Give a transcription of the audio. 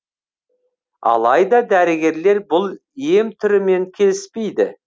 алайда дәрігерлер бұл ем түрімен келіспейді